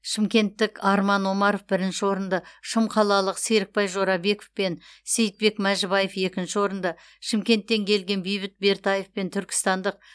шымкенттік арман омаров бірінші орынды шымқалалық серікбай жорабеков пен сейітбек мәжібаев екінші орынды шымкенттен келген бейбіт бертаев пен түркістандық